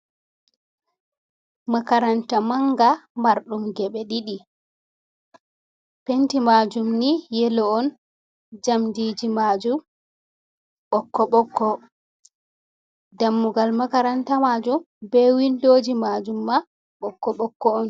Makaranta maanga marɗum ngebe ɗiɗi. Penti majum ni yeloo on. jamdiji majum bokko-bokko. Ɗammugal makaranta majum be windoji majum ma bokko-bokko on.